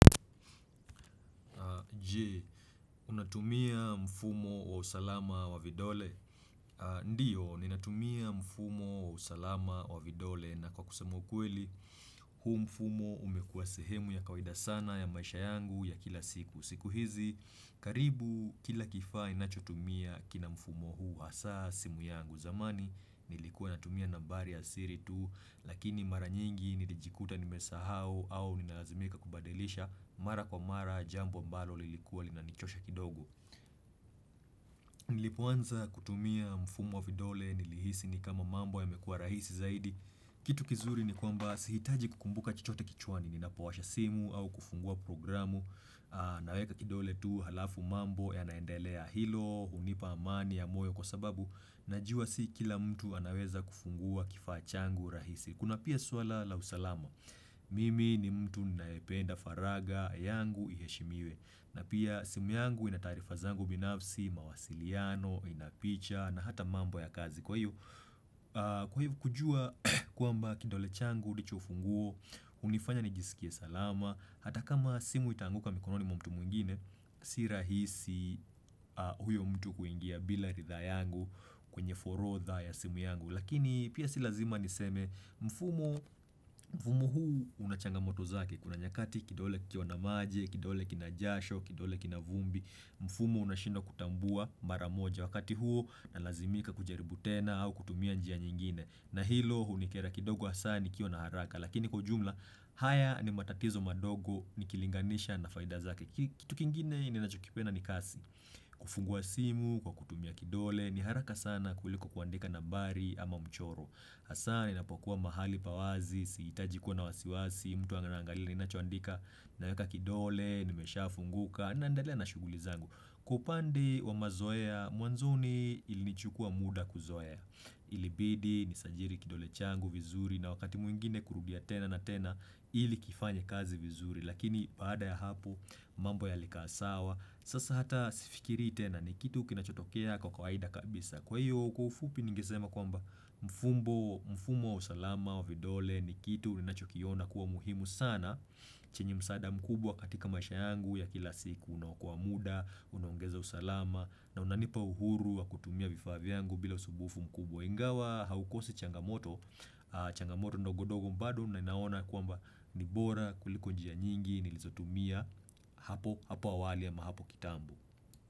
Je, unatumia mfumo wa usalama wa vidole? Ndio, ninatumia mfumo wa usalama wa vidole na kwa kusema ukweli, huu mfumo umekuwa sehemu ya kawaida sana ya maisha yangu ya kila siku. Siku hizi, karibu kila kifaa ninachotumia kina mfumo huu hasa, simu yangu zamani, nilikuwa natumia nambari ya siri tu, Lakini mara nyingi nilijikuta nimesahau au ninaazimika kubadilisha Mara kwa mara jambo ambalo lilikuwa linanichosha kidogo Nilipoanza kutumia mfumo wa vidole nilihisi ni kama mambo yamekua rahisi zaidi Kitu kizuri ni kwamba sihitaji kukumbuka chochote kichwani Ninapowasha simu au kufungua programu Naweka kidole tu halafu mambo yanaendelea hilo hunipa amani ya moyo kwa sababu najua si kila mtu anaweza kufungua kifaa changu rahisi Kuna pia suala la usalama, mimi ni mtu ninayependa faragha yangu iheshimiwe na pia simu yangu ina taarifa zangu binafsi, mawasiliano, ina picha na hata mambo ya kazi Kwa hivyo kujua kwamba kidole changu, ndicho ufunguo, hunifanya nijisikie salama Hata kama simu itaanguka mikononi mwa mtu mwingine, si rahisi huyo mtu kuingia bila ridhaa yangu kwenye forotha ya simu yangu Lakini pia si lazima niseme mfumo mfumo huu una changamoto zake. Kuna nyakati kidole kikiwa maji, kidole kina jasho, kidole kina vumbi mfumo unashindwa kutambua mara moja wakati huo nalazimika kujaribu tena au kutumia njia nyingine na hilo hunikera kidogo hasa nikiwa na haraka Lakini kwa ujumla haya ni matatizo madogo nikilinganisha na faida zake Kitu kingine ninachokipenda ni kasi kufungua simu kwa kutumia kidole ni haraka sana kuliko kuandika nambari ama mchoro Hasa ninapokuwa mahali pa wazi, sihitaji kuwa na wasiwasi mtu anaangalia ninachoandika naeka kidole, imeshafunguka na naendelea na shughuli zangu. Kwa upande wa mazoea, mwanzoni ilinichukua muda kuzoea Ilibidi, nisajili kidole changu vizuri na wakati mwingine kurudia tena na tena ili kifanye kazi vizuri Lakini baada ya hapo, mambo yalikaa sawa. Sasa hata sifikirii tena ni kitu kinachotokea kwa kawaida kabisa. Kwa hiyo kwa ufupi ningesema kwamba mfumo wa usalama wa vidole ni kitu ninachokiona kuwa muhimu sana chenye msaada mkubwa katika maisha yangu ya kila siku unaokoa muda, unaongeza usalama na unanipa uhuru wa kutumia vifaa vyangu bila usumbufu mkubwa. Ingawa haukosi changamoto, changamoto ndogondogo bado ninaona kwamba ni bora kuliko njia nyingi, nilizotumia hapo awali ama hapo kitambo.